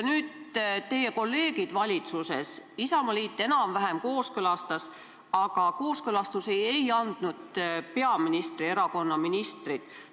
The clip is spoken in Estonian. Teie isamaalastest kolleegid valitsuses selle enam-vähem kooskõlastasid, aga kooskõlastust ei andnud peaministri erakonna ministrid.